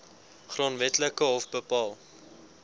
grondwetlike hof bepaal